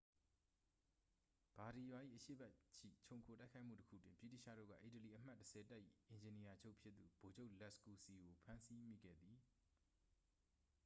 ဘာဒီရာ ၏ အရှေ့ဘက်ရှိ ချုံခိုတိုက်ခိုက်မှုတစ်ခုတွင် ဗြိတိသျှတို့က အီတလီ အမှတ် 10 တပ်၏ အင်ဂျင်နီယာချုပ်ဖြစ်သူ ဗိုလ်ချုပ် လက်စ်ကူစီ ကို ဖမ်းဆီးမိခဲ့သည်